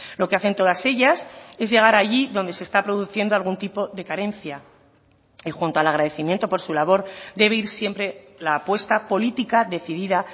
lo que hacen todas ellas es llegar allí donde se está produciendo algún tipo de carencia y junto al agradecimiento por su labor debe ir siempre la apuesta política decidida